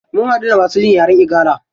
Mun haɗu da masu jin yaren igala.